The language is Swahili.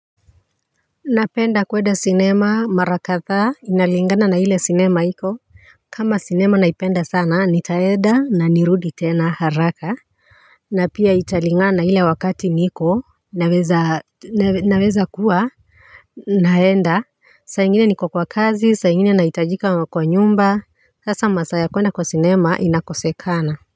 Napenda kuenda cinema mara kadhaa inalingana na ile cinema iko kama cinema naipenda sana nitaeda na nirudi tena haraka na pia italingana ile wakati naweza kuwa naenda saa ingine niko kwa kazi saa ingine nahitajika kwa nyumba Sasa masaa kuenda kwa cinema inakosekana.